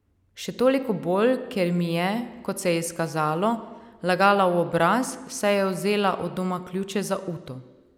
Še toliko bolj, ker mi je, kot se je izkazalo, lagala v obraz, saj je vzela od doma ključe za uto.